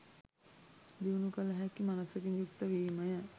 දියුණු කළ හැකි මනසකින් යුක්ත වීමය.